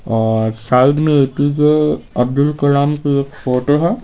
अअ side में A P J Abdul Kalam की एक फोटो है।